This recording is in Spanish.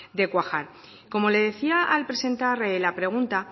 de cuajar como le decía al presentar la pregunta